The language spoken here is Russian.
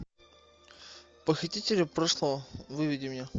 похитители прошлого выведи мне